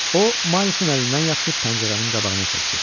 O Miles-ın əlindən yapışıb pəncərənin qabağına çəkdi.